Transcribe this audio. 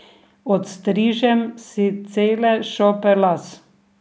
Odstrižem si cele šope las.